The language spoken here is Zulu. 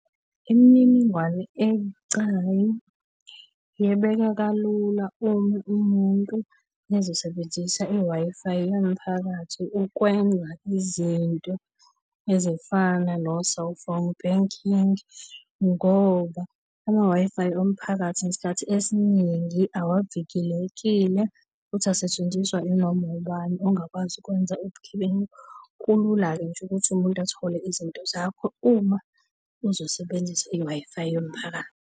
Imininingwane ebucayi yebeka kalula uma umuntu ezosebenzisa i-Wi-Fi yomphakathi ukwenza izinto ezifana no-cellphone banking ngoba ama-Wi-Fi omphakathi ngesikhathi esiningi awavikelekile, futhi asetshenziswa inoma ubani ongakwazi ukwenza ubugebengu. Kulula-ke nje ukuthi umuntu athole izinto zakho uma uzosebenzisa i-Wi-Fi yomphakathi.